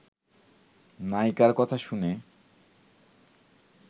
নায়িকার কথা শুনে